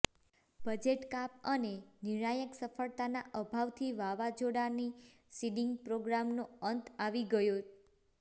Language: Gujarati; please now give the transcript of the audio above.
બજેટ કાપ અને નિર્ણાયક સફળતાના અભાવથી વાવાઝોડાની સીડીંગ પ્રોગ્રામનો અંત આવી ગયો